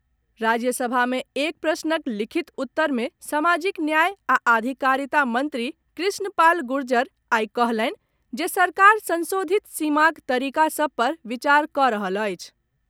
राज्यसभा मे एक प्रश्नक लिखित उत्तर मे सामाजिक न्याय आ अधिकारिता मंत्री कृष्ण पाल गुर्जर आइ कहलनि जे सरकार संशोधित सीमाक तरीका सभ पर विचार कऽ रहल अछि।